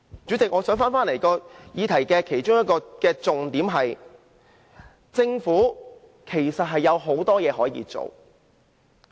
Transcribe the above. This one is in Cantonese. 主席，這個議題其中一個重點是，政府其實有很多事可以做。